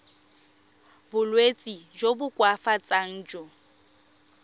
bolwetsi jo bo koafatsang jo